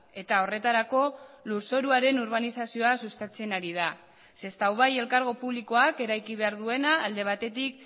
eta horretarako lurzoruaren urbanizazioa sustatzen ari da sestao bai elkargo publikoak eraiki behar duena alde batetik